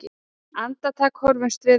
Andartak horfumst við á.